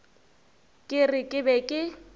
ke re ke be ke